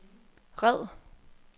red